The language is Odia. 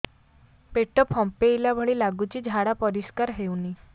ପେଟ ଫମ୍ପେଇଲା ଭଳି ଲାଗୁଛି ଝାଡା ପରିସ୍କାର ହେଉନି